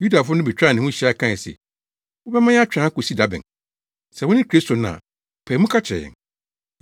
Yudafo no betwaa ne ho hyia kae se, “Wobɛma yɛatwɛn akosi da bɛn? Sɛ wone Kristo no a, pae mu ka kyerɛ yɛn.”